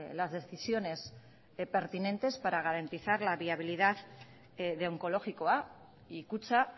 las decisiones pertinentes para garantizar la viabilidad de onkologikoa y kutxa